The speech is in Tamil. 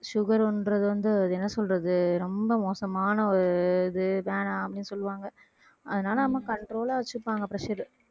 sugar ன்றது வந்து அது என்ன சொல்றது ரொம்ப மோசமான ஒரு இது வேணாம் அப்படீன்னு சொல்லுவாங்க அதனால அம்மா control ஆ வச்சுப்பாங்க pressure